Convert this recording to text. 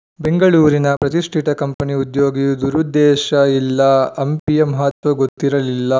ಬೆಂಗಳೂರಿನ ಪ್ರತಿಷ್ಠಿತ ಕಂಪನಿ ಉದ್ಯೋಗಿ ದುರುದ್ದೇಶ ಇಲ್ಲ ಹಂಪಿಯ ಮಹತ್ವ ಗೊತ್ತಿರಲಿಲ್ಲ